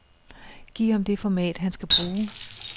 Giv ham det format, han skal bruge.